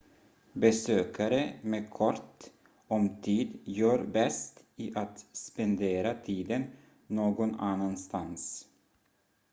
besökare med kort om tid gör bäst i att spendera tiden någon annan stans